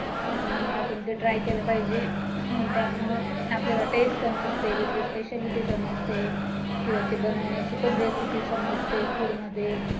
आणि आपण ते try केलं पाहिजे त्यामुळं आपल्याला taste समजते तिथली speciality समजते किंवा ते बनवण्याची पण recipe समजते